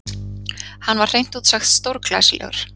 Hann var hreint út sagt stórglæsilegur.